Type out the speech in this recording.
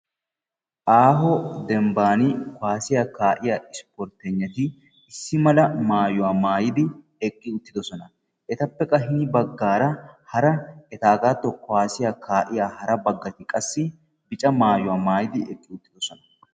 Aaho Dembban kuwassiya kaa'iyaa isportegnati issi mala maayyuwa maayyidi eqqi uttidoosona. Etappe qa hini baggaara hara etaagatto kuwassiyaa kaa'iya hara baggati qassi bicca maayyuwa maayyidi eqqi uttidosona.